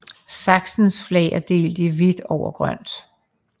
Sachsens flag er delt i hvidt over grønt